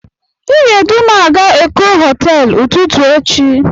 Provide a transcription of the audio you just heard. Ị ga-edu m a ga Eko hoteelu ụtụtụ echi.